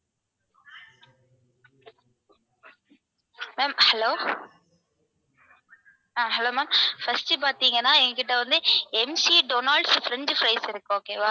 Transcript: ma'am hello ah hello ma'am first பாத்தீங்கன்னா எங்க கிட்ட வந்து MC donald's french fries இருக்கு okay வா